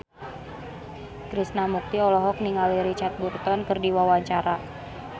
Krishna Mukti olohok ningali Richard Burton keur diwawancara